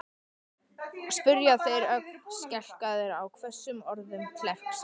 spyrja þeir, ögn skelkaðir á hvössum orðum klerksins.